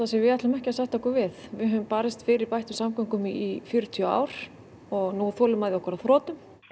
sem við ætlum ekki að sætta okkur við við höfum barist fyrir bættum samgöngum í fjörutíu ár og nú er þolinmæði okkar á þrotum